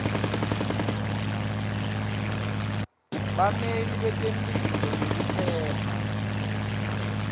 bameli betemphilo nekuphepha